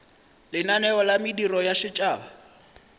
lenaneo la mediro ya setšhaba